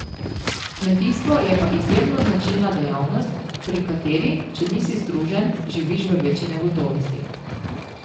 Kmetijstvo je pa izjemno značilna dejavnost, pri kateri, če nisi združen, živiš v večji negotovosti.